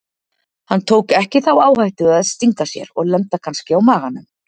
Hann tók ekki þá áhættu að stinga sér og lenda kannski á maganum.